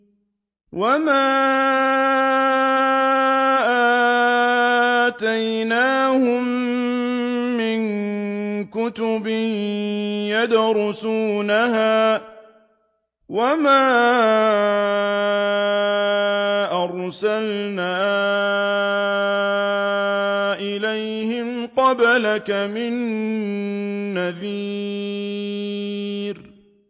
وَمَا آتَيْنَاهُم مِّن كُتُبٍ يَدْرُسُونَهَا ۖ وَمَا أَرْسَلْنَا إِلَيْهِمْ قَبْلَكَ مِن نَّذِيرٍ